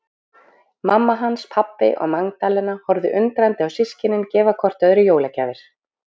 Mamma hans, pabbi og Magdalena horfðu undrandi á systkinin gefa hvort öðru jólagjafir.